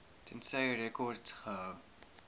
tensy rekords gehou